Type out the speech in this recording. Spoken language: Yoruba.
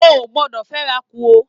O o gbọdọ fẹ'ra kú o!